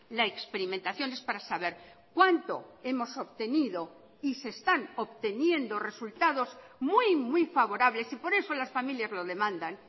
la experimentación es para saber cuánto hemos obtenido y se están obteniendo resultados muy muy favorables y por eso las familias lo demandan